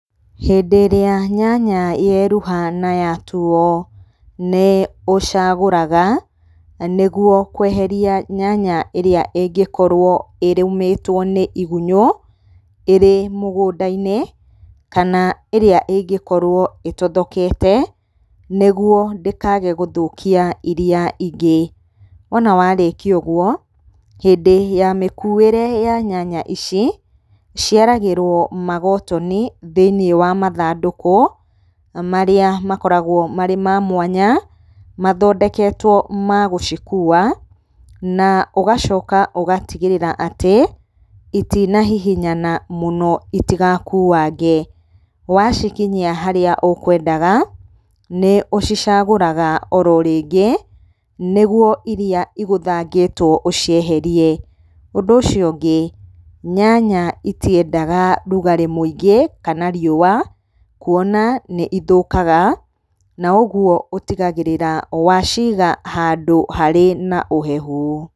Hĩndĩ ĩrĩa nyanya yeruha na yatuo, nĩ ũcagũraga nĩgũo kũeheria nyanya ĩrĩa ĩngĩkorũo ĩrũmĩtwo nĩ igũnyũ ĩrĩ mũgũnda-inĩ kana ĩrĩa ĩngĩkorwo ĩtothokete nĩguo ndĩkage gũthũkia iria ingĩ. Wona warĩkia ũgũo, hĩndĩ ya mĩkuĩre ya nyanya ici ciaragĩrwo magotoni thĩinĩ wa mathandũkũ marĩa makoragwo marĩ ma mwanya mathondeketwo magũcikua, na ũgacoka ũgatigĩrĩra atĩ itinahihinya mũno itigakuange. Wacikinyia harĩa ũkwendaga nĩ ũcicagũraga oro rĩngĩ nĩgũo iria igũthangĩtwo ũcieherie. Ũndũ ũcio ũngĩ, nyanya itiendaga rũgarĩ mũingĩ kana riũa kũona nĩ ithũkaga na ũgũo ũtigagĩrĩraga waciga handũ harĩ na ũhehu.